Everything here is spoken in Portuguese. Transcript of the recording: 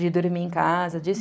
De dormir em casa, disso.